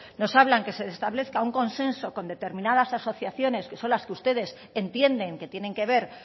nos hablan que se establezca un consenso con determinadas asociaciones que son las que ustedes entienden que tienen que ver